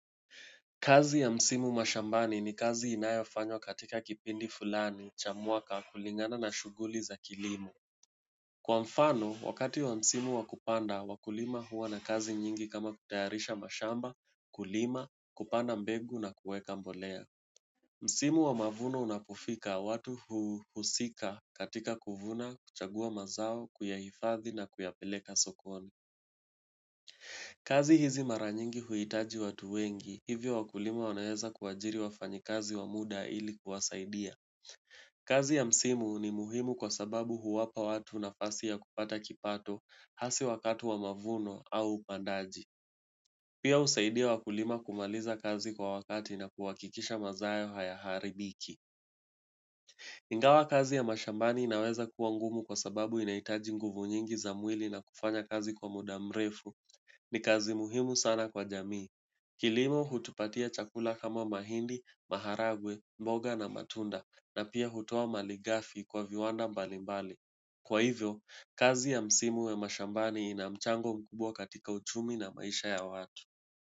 Kazi ya msimu mashambani ni kazi inayafanywa katika kipindi fulani cha mwaka kulingana na shuguli za kilimo. Kwa mfano, wakati wa msimu wa kupanda, wakulima huwa na kazi nyingi kama kutayarisha mashamba, kulima, kupanda mbegu na kueka mbolea. Msimu wa mavuno unapofika, watu huhusika katika kuvuna, kuchagua mazao, kuyahifadhi na kuyapeleka sokoni. Kazi hizi mara nyingi huitaji watu wengi, hivyo wakulima wanaweza kuwajiri wafanyi kazi wa muda ili kuwasaidia. Kazi ya msimu ni muhimu kwa sababu huwapa watu nafasi ya kupata kipato hasi wakati wa mavuno au upandaji. Pia husaidia wakulima kumaliza kazi kwa wakati na kuhakikisha mazao hayaharibiki. Ingawa kazi ya mashambani inaweza kuwa ngumu kwa sababu inaitaji nguvu nyingi za mwili na kufanya kazi kwa muda mrefu ni kazi muhimu sana kwa jamii. Kilimo hutupatia chakula kama mahindi, maharagwe, mboga na matunda na pia hutoa maligafi kwa viwanda mbalimbali. Kwa hivyo, kazi ya msimu ya mashambani ina mchango mkubwa katika uchumi na maisha ya watu.